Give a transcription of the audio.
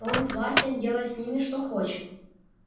он властен делать с ними что хочет